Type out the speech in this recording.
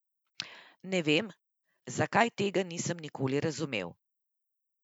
Ne vem, zakaj, tega nisem nikoli razumel.